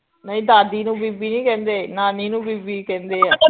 ਨਈ ਦਾਦੀ ਨੂੰ ਬੀਬੀ ਨੀ ਕਹਿੰਦੇ ਨਾਨੀ ਨੂੰ ਬੀਬੀ ਕਹਿੰਦੇ ਆ